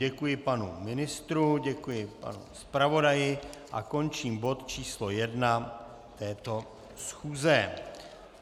Děkuji panu ministru, děkuji panu zpravodaji a končím bod číslo 1 této schůze.